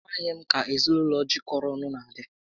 A maghị m ka ezinaụlọ jikọrọ ọnụ na adị